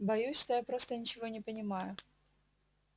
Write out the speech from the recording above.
боюсь что я просто ничего не понимаю